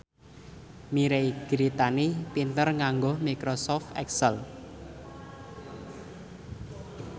Mirei Kiritani pinter nganggo microsoft excel